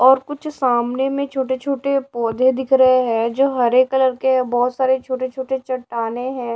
और कुछ सामने में छोटे छोटे पौधे दिख रहे हैं जो हरे कलर के बहोत सारे छोटे छोटे चट्टानें हैं।